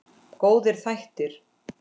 Góðir þættir.